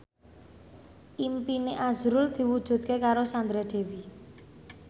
impine azrul diwujudke karo Sandra Dewi